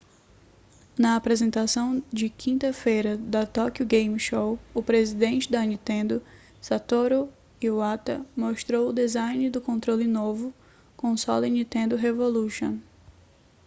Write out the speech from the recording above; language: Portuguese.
na apresentação de quinta-feira da tokyo game show o presidente da nintendo satoru iwata mostrou o design do controle do novo console nintendo revolution